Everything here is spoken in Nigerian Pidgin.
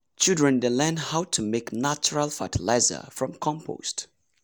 children dey learn how to make natural fertilizer from compost.